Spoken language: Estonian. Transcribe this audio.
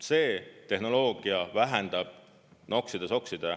See tehnoloogia vähendab …….